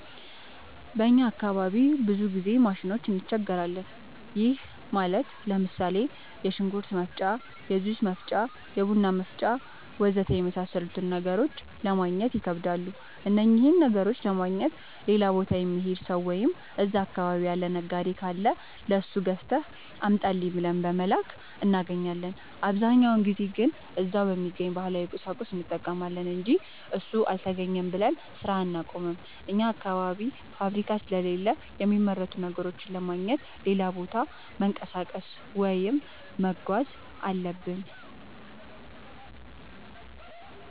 በእኛ አካባቢ ብዙ ጊዜ ማሽኖች እንቸገራለን። ይህም ማለት ለምሳሌ፦ የሽንኩርት መፍጫ፣ የጁስ መፍጫ፣ የቡና መፍጫ.... ወዘተ የመሣሠሉትን ነገሮች ለማገግኘት ይከብዳሉ። እነኝህን ነገሮች ለማግኘት ሌላ ቦታ የሚሄድ ሠው ወይም እዛ አካባቢ ያለ ነጋዴ ካለ ለሱ ገዝተህ አምጣልኝ ብለን በመላክ እናገኛለን። አብዛኛውን ጊዜ ግን እዛው በሚገኝ ባህላዊ ቁሳቁስ እንጠቀማለን አንጂ እሱ አልተገኘም ብለን ስራ አናቆምም። አኛ አካባቢ ፋብሪካ ስለሌለ የሚመረቱ ነገሮችን ለማግኘት ሌላ ቦታ መንቀሳቀስ ወይም መጓዝ አለብን።